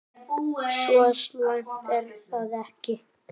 Svo slæmt er það ekki.